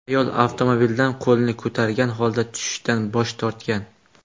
Ayol avtomobildan qo‘lini ko‘targan holda tushishdan bosh tortgan.